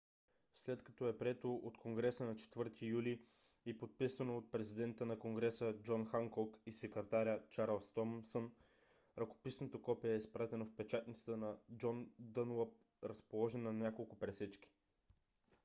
след като е прието от конгреса на 4-и юли и подписано от президента на конгреса джон ханкок и секретаря чарлз томсън ръкописното копие е изпратено в печатницата на джон дънлап разположена на няколко пресечки